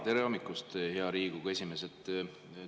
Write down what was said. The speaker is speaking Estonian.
Tere hommikust, hea Riigikogu esimees!